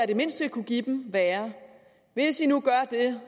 det mindste kunne give dem være hvis i nu gør det